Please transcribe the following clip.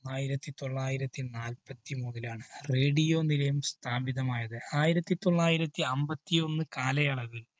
ആയിരത്തിതൊള്ളായിരത്തി നാല്പത്തിമൂന്നിലാണ് radio നിലയം സ്ഥാപിതമായത്. ആയിരത്തിതൊള്ളായിരത്തി അമ്പത്തിയൊന്ന് കാലയളവില്‍